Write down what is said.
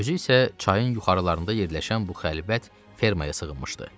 Özü isə çayın yuxarılarında yerləşən bu xəlbət fermaya sığınmışdı.